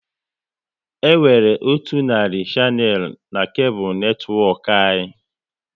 E nwere otu narị shanel n'kable netwọk anyị